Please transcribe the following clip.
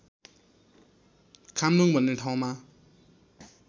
खाम्लुङ भन्ने ठाउँमा